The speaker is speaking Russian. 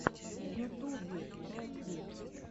в ютубе рекви